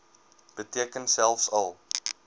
beteken selfs al